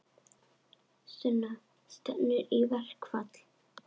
Sunna: Stefnir í verkfall?